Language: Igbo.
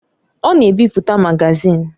Ọ na-ebipụta magazin.